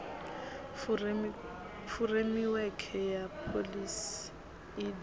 furemiwekhe ya pholisi i d